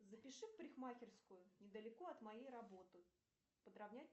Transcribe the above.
запиши в парикмахерскую недалеко от моей работы подровнять